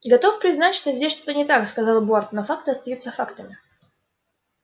готов признать что здесь что-то не так сказал борт но факты остаются фактами